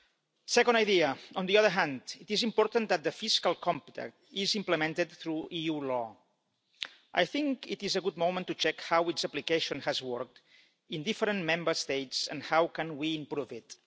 The second idea on the other hand, it is important that the fiscal compact is implemented through EU law. I think it is a good moment to check how its application has worked in different Member States, and how we can improve it.